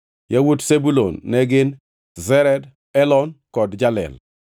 Yawuot Zebulun ne gin: Sered, Elon kod Jalel.